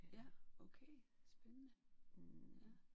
Ja okay spændende ja